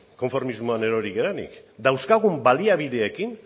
konformismoan erori garenik dauzkagun baliabideekin